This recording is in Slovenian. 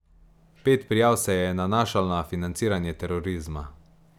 Pet prijav se je nanašalo na financiranje terorizma.